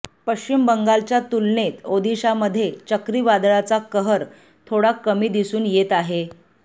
पश्चिम बंगालच्या तुलनेत ओदिशामध्ये चक्रीवादळाचा कहर थोडा कमी दिसून येत आहे